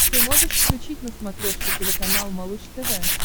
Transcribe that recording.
ты можешь включить на смотрешке телеканал малыш тв